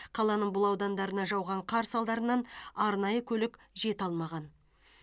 қаланың бұл аудандарына жауған қар салдарынан арнайы көлік жете алмаған